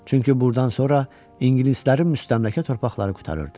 Çünki burdan sonra ingilislərin müstəmləkə torpaqları qurtarırdı.